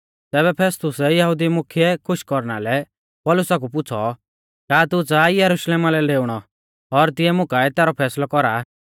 तैबै फेस्तुसै यहुदी मुख्यै खुश कौरना लै पौलुसा कु पुछ़ौ का तू च़ाहा ई यरुशलेमा लै डेउणौ और तिऐ मुकाऐ तैरौ फैसलौ कौरा